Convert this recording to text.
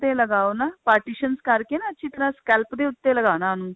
ਲਗਾਓ ਨਾ partitions ਕਰਕੇ ਨਾ ਅੱਛੀ ਤਰ੍ਹਾਂ scalp ਦੇ ਉੱਤੇ ਲਗਾਨਾ ਉਹਨੂੰ